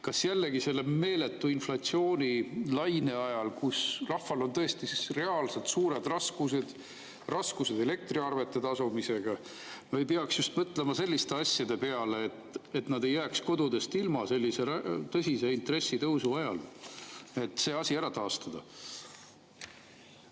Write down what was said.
Kas selle meeletu inflatsioonilaine ajal, kui rahval on tõesti reaalselt suured raskused, raskused elektriarvete tasumisega, ei peaks mõtlema sellise asja peale, et nad ei jääks kodudest ilma sellise tõsise intressitõusu ajal, et see asi taastada?